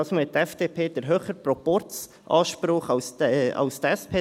Diesmal hat die FDP den höheren Proporzanspruch als die SP.